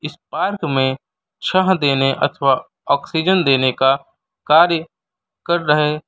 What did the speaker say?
इस पार्क में छाह देने अथवा ऑक्सीजन देने का कार्य कर रहे--